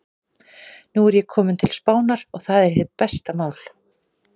Nú er ég kominn til Spánar. og það er hið besta mál.